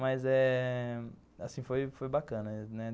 Mas eh assim, foi foi bacana, né.